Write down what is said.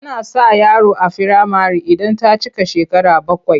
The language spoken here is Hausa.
Ana sa yaro a firamare idan ta cika shekara bakwai.